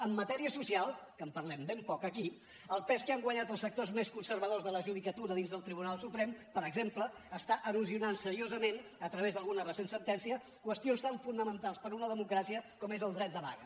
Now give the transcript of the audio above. en matèria social que en parlem ben poc aquí el pes que han guanyat els sectors més conservadors de la judicatura dins del tribunal suprem per exemple està erosionant seriosament a través d’alguna recent sentència qüestions tan fonamentals per a una democràcia com és el dret de vaga